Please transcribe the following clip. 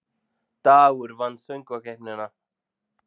Dagur vann Söngkeppnina